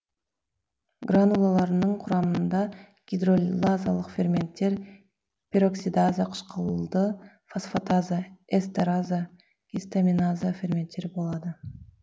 гранулаларының құрамында гидролазалық ферменттер пероксидаза қышқылды фосфатаза эстераза гистаминаза ферменттері болады